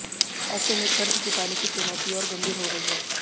ऐसे में कर्ज चुकाने की चुनौती और गंभीर हो गई है